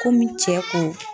Komi cɛ ko